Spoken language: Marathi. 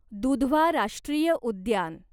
दुधवा राष्ट्रीय उद्यान